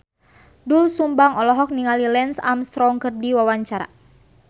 Doel Sumbang olohok ningali Lance Armstrong keur diwawancara